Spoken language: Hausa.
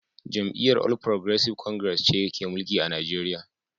Jam’iyyar All Progressives Congress (APC) ce ke mulki a Nigeriya